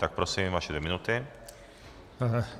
Tak prosím, vaše dvě minuty.